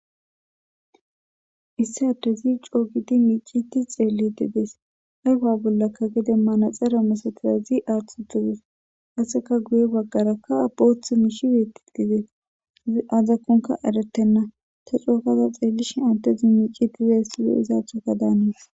issi adde zi coogidi miiciti xeelledidees ayfa bollakka gede manaxera masatirazi aaththutudes aseka guye baggarakka abooth miishiweeti didees i azakonka eretenna ta cookaza xeellishi addezi miicitize silo izaathoka daanis.